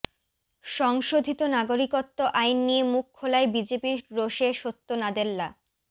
সংশোধিত নাগরিকত্ব আইন নিয়ে মুখ খোলায় বিজেপির রোষে সত্য নাদেল্লা